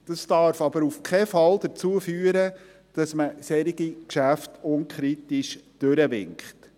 Dies darf aber auf keinen Fall dazu führen, dass man solche Geschäfte unkritisch durchwinkt.